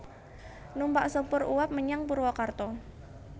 Numpak sepur uap menyang Purwakarta